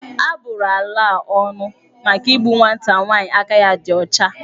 A bụrụ ala a ónù maka igbu nwata nwaanyi aka ya dị ya ọcha.